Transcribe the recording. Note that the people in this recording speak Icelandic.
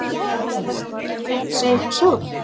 Gastu þá ekki reynt að segja eitthvað sjálf?